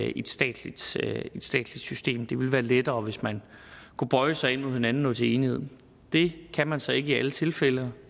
i et statsligt statsligt system det ville være lettere hvis man kunne bøje sig ind mod hinanden og nå til enighed det kan man så ikke i alle tilfælde